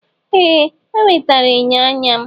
Ee! O wetara enyo anya m.